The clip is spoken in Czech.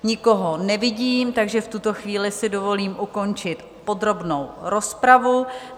Nikoho nevidím, takže v tuto chvíli si dovolím ukončit podrobnou rozpravu.